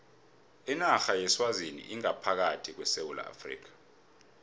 inarha yeswazini ingaphakathi kwesewula afrika